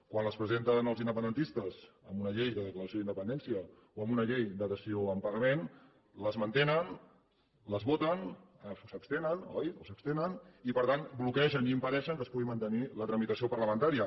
quan les presenten els independentistes amb una llei de declaració de la independència o amb un llei de dació en pagament les mantenen les voten o s’abstenen oi i per tant bloquegen i impedeixen que es pugui mantenir la tramitació parlamentària